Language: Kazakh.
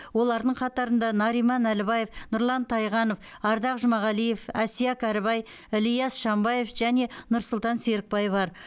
олардың қатарында нариман әлібаев нұрлан тайғанов ардақ жұмағалиев әсия кәрібай ілияс шанбаев және нұрсұлтан серікбай бар